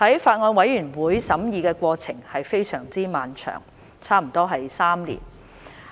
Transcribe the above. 法案委員會審議的過程非常漫長，差不多3年。